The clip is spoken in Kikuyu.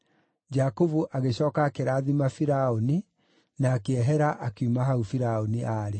Jakubu agĩcooka akĩrathima Firaũni na akĩehera akiuma hau Firaũni aarĩ.